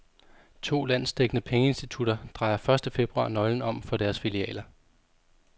To landsdækkende pengeinstitutter drejer første februar nøglen om for deres filialer.